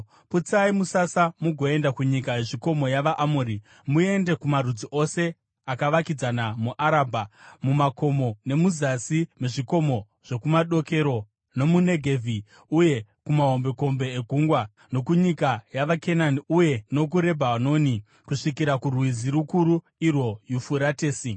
Putsai musasa mugoenda kunyika yezvikomo yavaAmori; muende kumarudzi ose akavakidzana muArabha, mumakomo, nemuzasi mezvikomo zvokumadokero, nomuNegevhi uye kumahombekombe egungwa, nokunyika yavaKenani uye nokuRebhanoni, kusvikira kurwizi rukuru, irwo Yufuratesi.